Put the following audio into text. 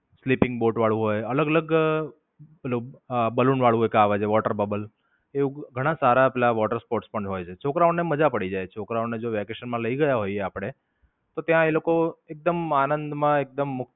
sleeping Boat વાળું હોય, અલગ-અલગ મતલબ balloon વાળું એક આવે છે water bubble. એવું ઘણા સારા પેલા water sports પણ હોય છે. છોકરાઓને મજા પડી જાય છોકરાઓને જો વેકેશન માં લઇ ગયા હોઈએ આપડે તો ત્યાં એ લોકો એકદમ આનંદ માં એકદમ મુક્ત.